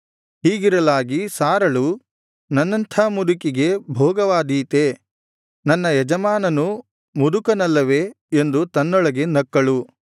ಹೀಗಿರಲಾಗಿ ಸಾರಳು ನನ್ನಂಥ ಮುದುಕಿಗೆ ಭೋಗವಾದೀತೇ ನನ್ನ ಯಜಮಾನನೂ ಮುದುಕನಲ್ಲವೇ ಎಂದು ತನ್ನೊಳಗೆ ನಕ್ಕಳು